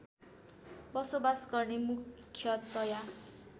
बसोबास गर्ने मुख्यतया